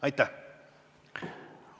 Aitäh!